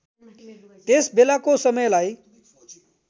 त्यस बेलाको समयलाई